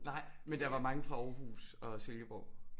Nej men der var mange fra Aarhus og Silkeborg